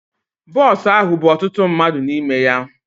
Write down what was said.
Bọs ahụ bú ọtụtụ mmadụ n'ime ya.